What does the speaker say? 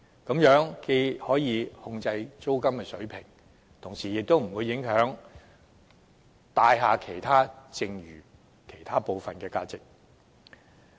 這樣既可控制租金水平，亦不會影響有關物業其他部分的市場租值。